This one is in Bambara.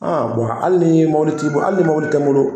hali ni mɔbili t'i bo hali ni mɔbili tɛ n bolo.